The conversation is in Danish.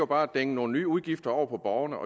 bare at dænge nogle nye udgifter over på borgerne